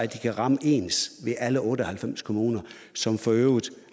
de kan ramme ens ved alle otte og halvfems kommuner som for øvrigt